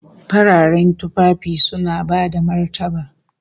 Fararen tufafi suna bada martaba